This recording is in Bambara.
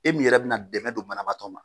E min yɛrɛ bɛna dɛmɛ don banabaatɔ ma